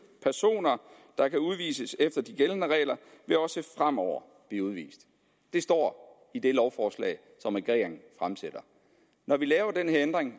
personer der kan udvises efter de gældende regler vil også fremover blive udvist det står i det lovforslag som regeringen fremsætter når vi laver den her ændring